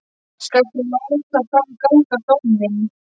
Skalt þú þá láta fram ganga dóminn.